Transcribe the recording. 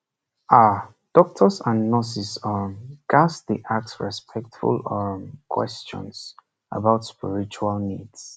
ah doctors and nurses um ghats dey ask respectful um questions about spiritual needs